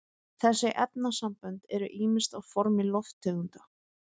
þessi efnasambönd eru ýmist á formi lofttegunda